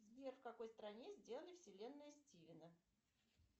сбер в какой стране сделана вселенная стивена